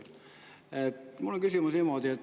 Mul on niisugune küsimus.